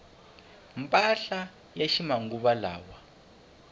mpahla ya ximanguvalawa